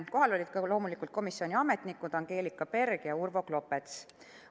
Kohal olid loomulikult ka komisjoni ametnikud Angelika Berg ja Urvo Klopets.